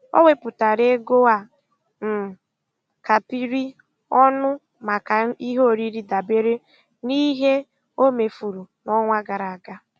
O wepụtara ego a um kapịrị ọnụ maka ihe oriri dabere n'ihe o mefuru n'ọnwa gara aga.